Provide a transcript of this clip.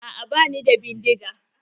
Aa bani da bindiga.